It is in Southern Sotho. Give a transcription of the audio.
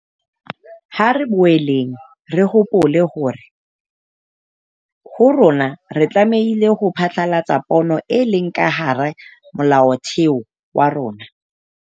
Ha re boeleng re hopole hore ho rona re tlameile ho phethahatsa pono e leng ka hara Molaotheo wa rona.